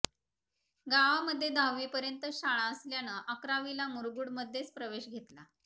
गावामध्ये दहावीपर्यंतच शाळा असल्यानं अकरावीला मुरगूड मधेच प्रवेश घेतला